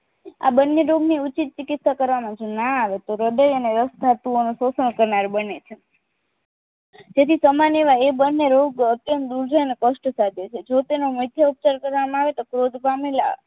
આ બને રોગની ઉચિત ચિકિત્સા કરવામાં જો ના આવે તો હ્રદય અને સ્સ્નાતુઓનું શોષણ કરનાર બને છે તેથી સામાન્ય એવા એ બને રોગ અત્યંત દુર્જન અને કષ્ટ સાધે છે જો તેનો મુખ્ય ઉપચાર કરવામાં આવે તો ક્રોધ પામેલા